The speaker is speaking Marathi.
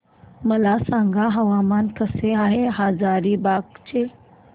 मला सांगा हवामान कसे आहे हजारीबाग चे